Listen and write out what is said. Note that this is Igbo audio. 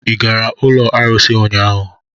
Ị gara n'ụlọ arụsị ụnyaahụ?